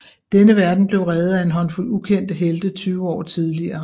Denne verden blev reddet af en håndfuld ukendte helte tyve år tidligere